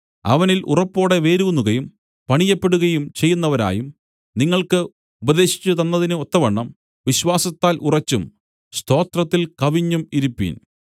അവനിൽ ഉറപ്പോടെ വേരൂന്നുകയും പണിയപ്പെടുകയും ചെയ്യുന്നവരായും നിങ്ങൾക്ക് ഉപദേശിച്ചുതന്നതിന് ഒത്തവണ്ണം വിശ്വാസത്താൽ ഉറച്ചും സ്തോത്രത്തിൽ കവിഞ്ഞും ഇരിപ്പിൻ